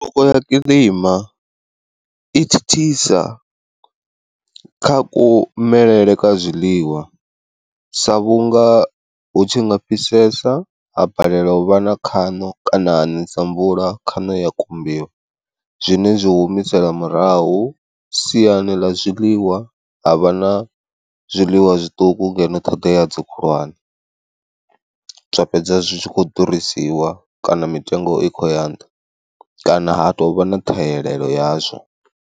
Tshanduko ya kiḽima i thithisa kha kumelele kwa zwiḽiwa sa vhunga hu tshi nga fhisesa ha balelwa u vha na khaṋo kana ha nesa mvula khano ya kumbiwa, zwine zwi humisela murahu siani ḽa zwiḽiwa havha na zwiḽiwa zwiṱuku ngeno ṱhoḓea idzo khulwane, zwa fhedza zwi tshi kho ḓurisiwa kana mitengo i kho ya nṱha, kana ha tovha na ṱhahelelo yazwo.